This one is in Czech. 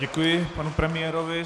Děkuji panu premiérovi.